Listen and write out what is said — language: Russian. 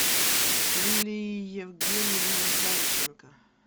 лилия евгеньевна зайченко